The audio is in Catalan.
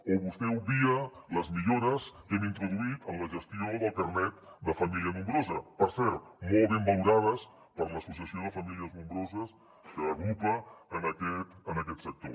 o vostè obvia les millores que hem introduït en la gestió del carnet de família nombrosa per cert molt ben valorades per l’associació de famílies nombroses que agrupa en aquest sector